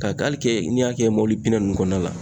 Ka n'i y'a kɛ mɔbili nunnu kɔnɔna la